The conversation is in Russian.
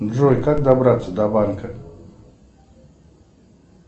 джой как добраться до банка